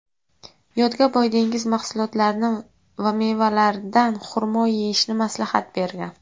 yodga boy dengiz mahsulotlarini va mevalardan xurmo yeyishni maslahat bergan.